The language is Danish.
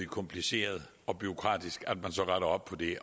kompliceret og bureaukratisk så at rette op på det